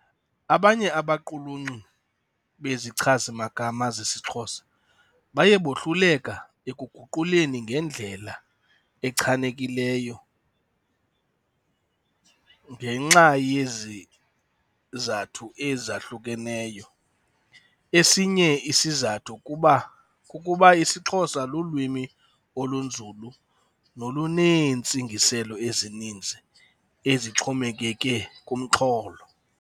Abanye abaquluncu bezichazimagama zesiXhosa baye bohluleka ekuguquleni ngendlela echanekileyo ngenxa yezizathu ezahlukeneyo. Esinye isizathu kuba, kukuba isiXhosa lulwimi olunzulu noluneentsingiselo ezininzi ezixhomekeke kumxholo.